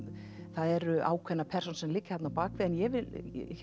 það eru ákveðnar persónur sem liggja þarna að baki en ég vil